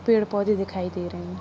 पेड़ पौधे दिखाई दे रहे हैं।